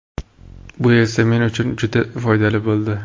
Bu esa men uchun juda foydali bo‘ldi.